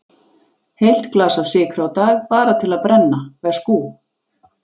Heilt glas af sykri á dag, bara til að brenna, veskú.